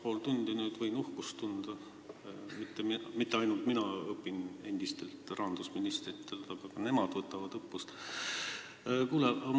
Võin juba kaks ja pool tundi uhkust tunda, et mitte ainult mina ei õpi endistelt rahandusministritelt, vaid ka nemad võtavad õppust.